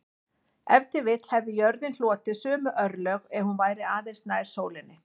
Ef til vill hefði jörðin hlotið sömu örlög ef hún væri aðeins nær sólinni.